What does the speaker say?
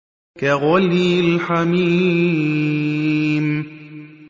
كَغَلْيِ الْحَمِيمِ